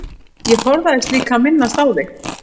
Ég forðaðist líka að minnast á þig.